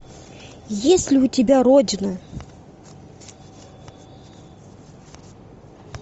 есть ли у тебя родина